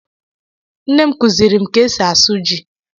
Nnem kuziri m ka esi asụ ji